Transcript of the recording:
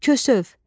Kösöv.